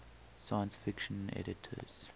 science fiction editors